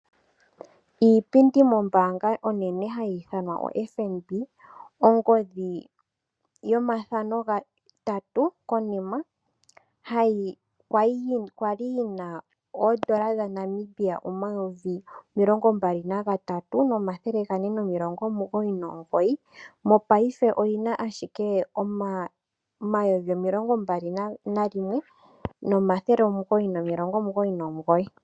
Iipindi mombaanga onene hayi ithanwa oFNB. Ongodhi yomathano gatatu konima oya li yi na N$ 23 499, mopaife oyi na ashike N$ 21 999.